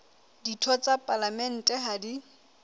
ditho tsa palamente ha di